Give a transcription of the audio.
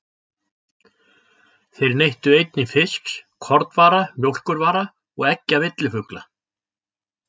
Þeir neyttu einnig fisks, kornvara, mjólkurvara og eggja villifugla.